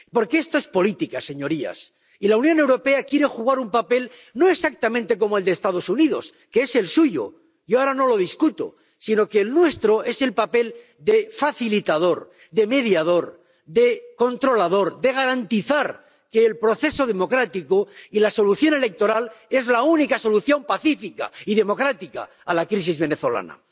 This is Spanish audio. Porque esto es política, señorías, y la Unión Europea quiere desempeñar un papel, no exactamente como el de los Estados Unidos —que es el suyo, yo ahora no lo discuto—, sino que el nuestro es el papel de facilitador, de mediador, de controlador, de garantizar que el proceso democrático y la solución electoral son la única solución pacífica y democrática a la crisis venezolana.